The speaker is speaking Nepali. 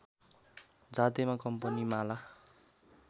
जातिमा कम्पनीमाला